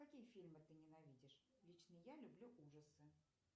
какие фильмы ты ненавидишь лично я люблю ужасы